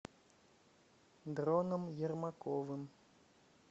дроном ермаковым